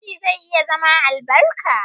Ciki zai iya zama albarka.